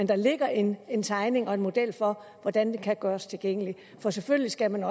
der ligger en en tegning og en model for hvordan den kan gøres tilgængelig for selvfølgelig skal man